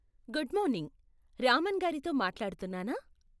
Good morning, Raman గారితో మాట్లాడుతున్నానా?